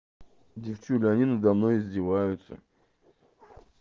девочки они надо мной издеваются